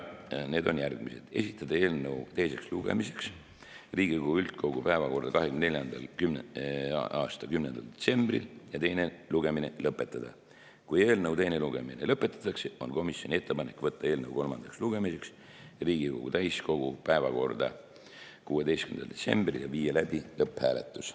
Need on järgmised: esitada eelnõu teiseks lugemiseks Riigikogu üldkogu päevakorda 2024. aasta 10. detsembril ja teine lugemine lõpetada; kui eelnõu teine lugemine lõpetatakse, on komisjoni ettepanek võtta eelnõu kolmandaks lugemiseks Riigikogu täiskogu päevakorda 16. detsembril ja viia läbi lõpphääletus.